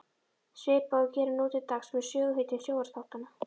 Svipað og við gerum nú til dags með söguhetjum sjónvarpsþáttanna.